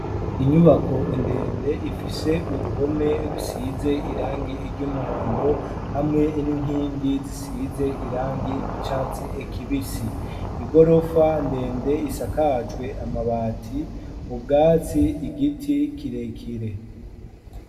Inyubako ndende ifise uruhome rusize irangi ry'umuhondo hamwe n'inkingi zisize irangi ry'icatsi kibisi igorofa ndende isakajwe amabati ubwatsi igiti kirekire.